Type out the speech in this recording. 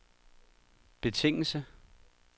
betingelse